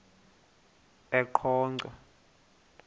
eqonco